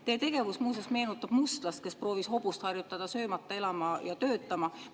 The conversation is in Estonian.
Teie tegevus, muuseas, meenutab mustlast, kes proovis harjutada hobust söömata elama ja töötama.